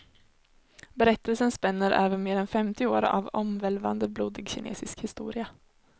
Berättelsen spänner över mer än femtio år av omvälvande, blodig kinesisk historia.